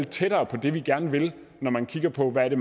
tættere på det vi gerne vil når man kigger på hvad det